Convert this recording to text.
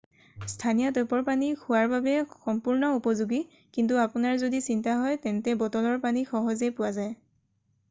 স্থানীয় টেপৰ পানী খোৱাৰ বাবে সম্পূৰ্ণ উপযোগী কিন্তু আপোনাৰ যদি চিন্তা হয় তেন্তে বটলৰ পানী সহজেই পোৱা যায়